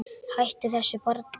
Hættu þessu barn!